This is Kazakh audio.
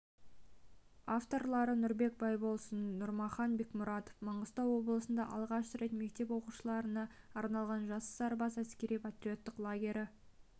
авторлары нұрбек байбосын нұрмахан бекмұратов маңғыстау облысында алғаш рет мектеп оқушыларына арналған жас сарбаз әскери-патриоттық лагері